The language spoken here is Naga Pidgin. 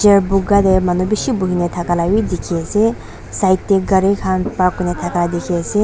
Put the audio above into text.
chair buga te manu bishi buhina thaka la bi dikhi ase side te gari khan park kurina thaka dikhi ase.